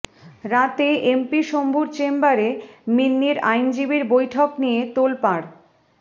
রাতে এমপি শম্ভুর চেম্বারে মিন্নির আইনজীবীর বৈঠক নিয়ে তোলপাড়